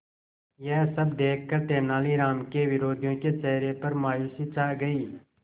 यह सब देखकर तेनालीराम के विरोधियों के चेहरे पर मायूसी छा गई